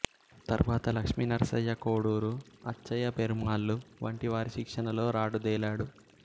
తరువాత లక్ష్మీనరసయ్య కోడూరు అచ్చయ్య పెరుమాళ్లు వంటి వారి శిక్షణలో రాటుదేలాడు